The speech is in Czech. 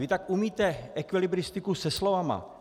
Vy tak umíte ekvilibristiku se slovy...